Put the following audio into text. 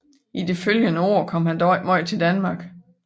I de følgende år kom han dog ikke meget til Danmark